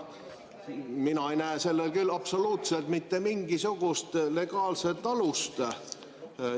Mina ei näe sellel küll absoluutselt mitte mingisugust legaalset alust.